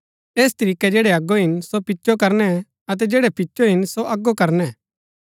ऐस तरीकै जैड़ै अगो हिन सो पिचो करनै अतै जैड़ै पिचो हिन सो अगो करनै